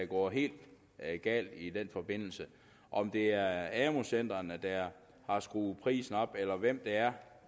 gået helt galt i den forbindelse om det er amu centrene der har skruet prisen op eller hvem det er